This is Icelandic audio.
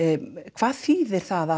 hvað þýðir það